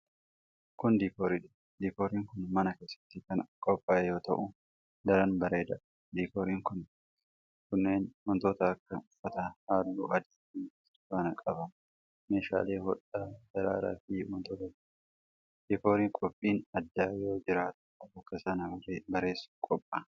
Kun, diikoorii dha. Diikooriin kun mana keessatti kan qophaa'e yoo ta'u, daran bareedaa dha. Diikooriin kunneen wantoota akka uffata haalluu adii fi burtukaanaa qaban, meeshaalee hodhaa, daraaraa fi wantoota biroo dha. Diikooriin qophiin addaa yeroo jiraatu, bakka sana bareessuuf qopha'a.